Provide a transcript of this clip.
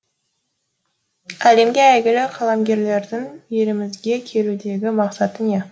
әлемге әйгілі қаламгерлердің елімізге келудегі мақсаты не